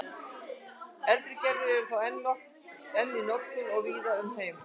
eldri gerðir eru þó enn í notkun víða um heim